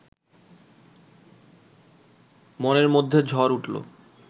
মনের মধ্যে ঝড় উঠল